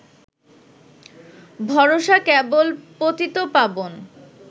ভরসা কেবল পতিতপাবন